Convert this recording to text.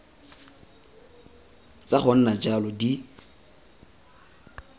tsa go nna jalo di